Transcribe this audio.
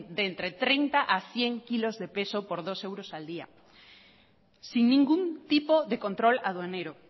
de entre treinta a cien kilos de peso por dos euros al día sin ningún tipo de control aduanero